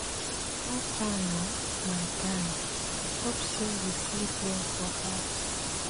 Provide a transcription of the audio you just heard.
How far na, my guy? Hope sey you sleep well for house.